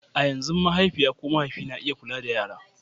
a yanzu mahaifiya ko mahaifi na iya kula da yara